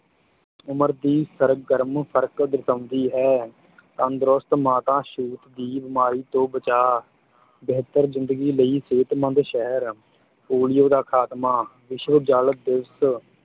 ਉਮਰ ਦੀ ਸਰਗਰਮ ਫਰਕ ਦਰਸਾਉਂਦੀ ਹੈ ਤੰਦਰੁਸਤ ਮਾਤਾ ਛੂਤ ਦੀ ਬੀਮਾਰੀ ਤੋਂ ਬਚਾ, ਬਿਹਤਰ ਜ਼ਿੰਦਗੀ ਲਈ ਸਿਹਤਮੰਦ ਸ਼ਹਿਰ, ਪੋਲੀਓ ਦਾ ਖਾਤਮਾ, ਵਿਸ਼ਵ ਜਲ ਦਿਵਸ਼